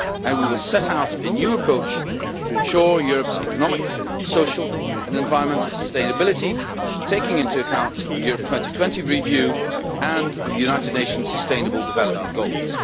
We will set out a new approach to ensure Europe's economic, social and environmental sustainability, taking into account the Europe 2020 review and the United Nation's sustainable development goals.